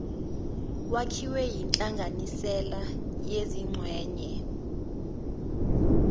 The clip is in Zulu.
wakhiwe yinhlanganisela yezingxenye